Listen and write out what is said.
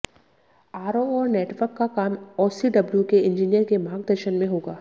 RO और network का काम ओसीडब्ल्यू के इंजीनियर के मार्गदर्शन में होगा